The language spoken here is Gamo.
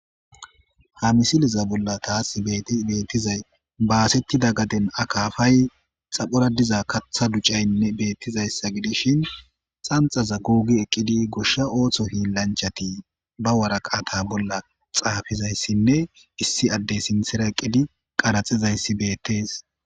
ha misiliza bolla taas beettizay baasettida gaden akafay xaphora diza katha ducaynne beettizayssa gidishin xanxaza gogii eqqidi goshsha ooththo hiilanchati ba waraqata bolla xaafizayssinne issi addey sinthera eqqidi qaraxizayssi beettees